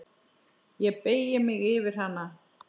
Ég beygi mig yfir hana.